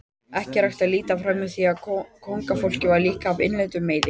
Ekki er hægt að líta framhjá því að kóngafólk var líka af innlendum meiði.